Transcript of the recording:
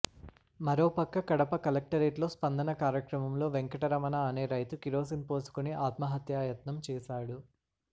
మరో పక్క కడప కలెక్టరేట్లో స్పందన కార్యక్రమంలో వెంకట రమణ అనే రైతు కిరోసిన్ పోసుకుని ఆత్మహత్యాయత్నం చేశాడు